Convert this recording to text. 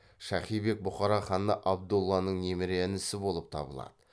шахи бек бұқара ханы абдолланың немере інісі болып табылады